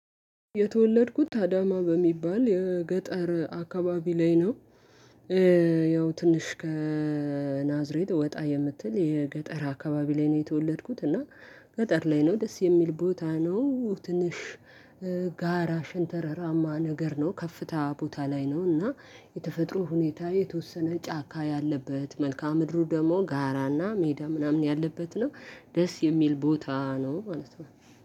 የተወለድኩት አዳማ በሚባል የገጠር አካባቢ ላይ ነው። ያው ትንሽ ከናዝሬት ወጣ የምትል የገጠር አካባቢ ላይ ነው የተወለድኩት እና። ገጠር ላይ ነው ደስ የሚል ቦታ ነው። ትንሽ ጋራ ሽንተረራማ ነገር ነው። ከፍታ ቦታ ላይ ነው እና የተፈጥሮ ሁኔታ የተወሰነ ጫካ ያለበት መልካም ምድሩ ደግሞ ጋራና ሜዳ ምናምን ያለበት ነው። ደስ የሚል ቦታ ነው ማለት ነው።